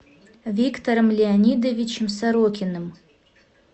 виктором леонидовичем сорокиным